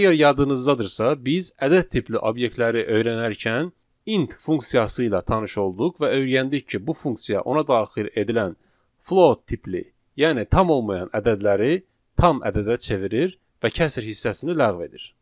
Əgər yadınızdadırsa, biz ədəd tipli obyektləri öyrənərkən `int` funksiyası ilə tanış olduq və öyrəndik ki, bu funksiya ona daxil edilən `float` tipli, yəni tam olmayan ədədləri tam ədədə çevirir və kəsr hissəsini ləğv edir.